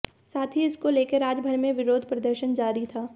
साथ ही इसको लेकर राज्य भर में विरोध प्रदर्शन जारी था